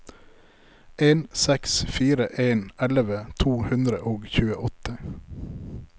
en seks fire en elleve to hundre og tjueåtte